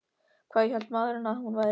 Hvað hélt maðurinn að hún væri?